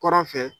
Kɔrɔn fɛ